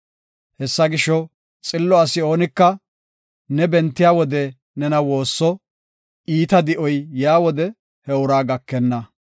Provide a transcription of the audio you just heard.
Hessa gisho, xillo asi oonika, ne bentiya wode nena woosso; iita di7oy yaa wode he uraa gakenna.